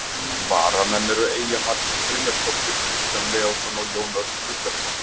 Varamenn eru Eyja Margrét Brynjarsdóttir, Kristján Leósson og Jón Örn Guðbjartsson.